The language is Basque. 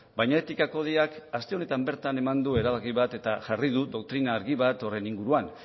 baina etika kodeak aste honetan bertan eman du erabaki bat eta jarri du doktrina argi bat horren inguruan